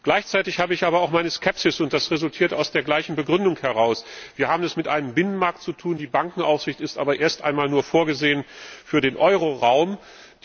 Gleichzeitig habe ich aber auch meine Skepsis, und die resultiert aus der gleichen Begründung heraus Wir haben es mit einem Binnenmarkt zu tun, die Bankenaufsicht ist aber erst einmal nur für den Euroraum vorgesehen.